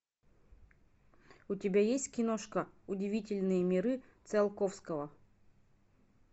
у тебя есть киношка удивительные миры циолковского